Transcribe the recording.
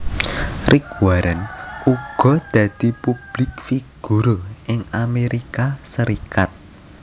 Rick Warren uga dadi publik figur ing Amérika Serikat